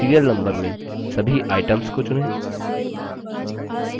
serial number में सभी items को चुनें